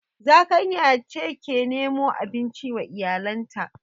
Zakanya ce ke nemo abinci wa iyalanta